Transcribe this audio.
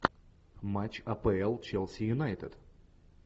матч апл челси юнайтед